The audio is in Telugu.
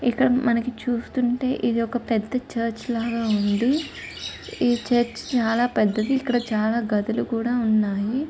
ఇక్కడ మనకి చూస్తుంటే ఇదొక పెద్ద చర్చి లాగా ఉంది. ఈ చర్చి చాలా పెద్దధీ. ఇక్కడ చాలా గదులు కూడా ఉన్నాయి.